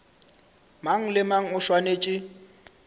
mang le mang o swanetše